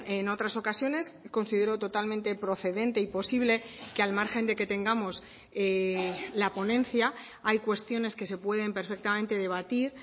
en otras ocasiones considero totalmente procedente y posible que al margen de que tengamos la ponencia hay cuestiones que se pueden perfectamente debatir